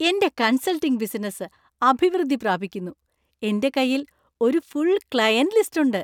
എന്‍റെ consulting business അഭിവൃദ്ധി പ്രാപിക്കുന്നു, എന്‍റെ കൈയിൽ ഒരു ഫുൾ ക്ലയന്‍റ് ലിസ്റ്റ് ഉണ്ട്.